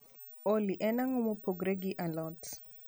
olly en ango mopogore gi a lot